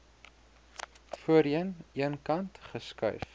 voorheen eenkant geskuif